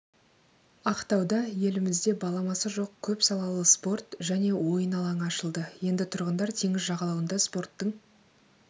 ақтауда елімізде баламасы жоқ көп салалы спорт және ойын алаңы ашылды енді тұрғындар теңіз жағалауында спорттың